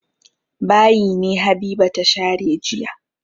Bayi ne Habiba ta share jiya.